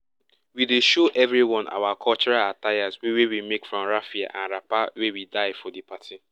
we dey show everyone our cultural attires wey we make from raffia and wrapper wey we dye for di party